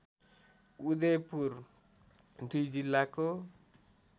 उदयपुर दुई जिल्लाको